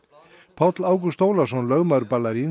Páll Ágúst Ólafsson lögmaður